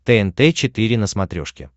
тнт четыре на смотрешке